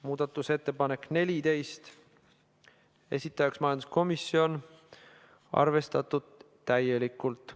Muudatusettepanek nr 14, esitajaks majanduskomisjon, arvestatud täielikult.